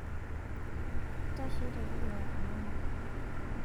ntashe tedukuya onanu